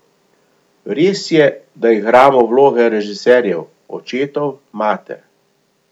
Res je, da igramo vloge režiserjev, očetov, mater.